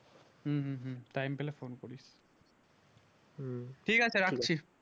হম হম হম পেলে ফোন করিস হম ঠিক আছে রাখছি